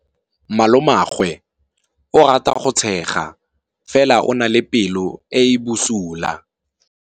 Malomagwe o rata go tshega fela o na le pelo e e bosula.